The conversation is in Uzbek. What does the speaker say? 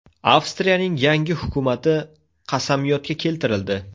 Avstriyaning yangi hukumati qasamyodga keltirildi.